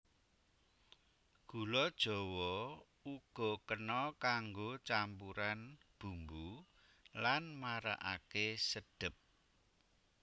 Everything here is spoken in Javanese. Gula jawa uga kena kanggo campuran bumbu lan marakaké sedhep